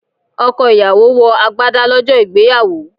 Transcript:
Ọkọ̀ ìyàwó wọ agbádá lọ́jọ́ ìgbéyàwó.